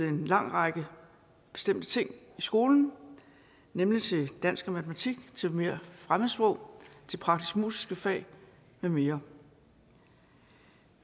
en lang række bestemte ting i skolen nemlig til dansk og matematik til mere fremmedsprog til praktisk musiske fag med mere